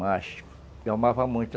Mas, eu amava muito.